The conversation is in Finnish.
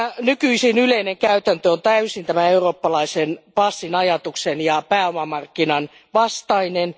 Nykyisin yleinen käytäntö on täysin eurooppalaisen passin ajatuksen ja pääomamarkkinoiden vastainen.